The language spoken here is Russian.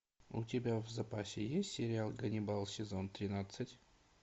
у тебя в запасе есть сериал ганнибал сезон тринадцать